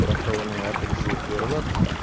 бірақ та оның әр түрлі себептері бар